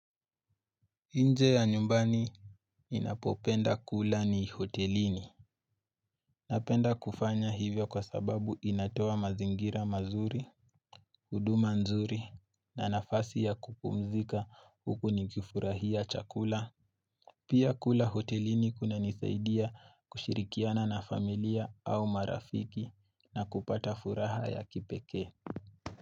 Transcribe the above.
Inje ya nyumbani ninapopenda kula ni hotelini. Napenda kufanya hivyo kwa sababu inatoa mazingira mazuri, huduma nzuri na nafasi ya kupumzika huku ni kifurahia chakula. Pia kula hotelini kuna nisaidia kushirikiana na familia au marafiki na kupata furaha ya kipeke.